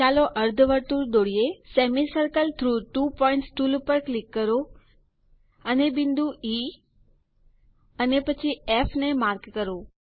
ચાલો અર્ધવર્તુળ દોરીએ semicircle through two points tool ઉપર ક્લિક કરો અને બિંદુ ઇ અને પછી ફ ને માર્ક કરો